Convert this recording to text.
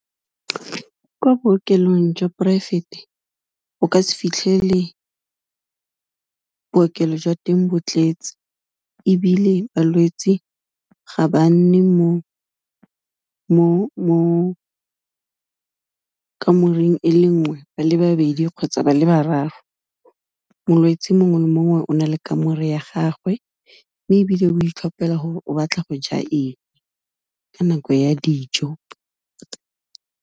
Kwa bookelong jwa poraefete, o ka se fitlhelele bookelo jwa teng bo tletse, ebile balwetsi ga ba nne mo kamoreng e le nngwe ba le babedi kgotsa ba le bararo, molwetsi mongwe le mongwe o na le kamore ya gagwe, mme ebile o itlhopela gore o batla go ja eng, ka nako ya dijo.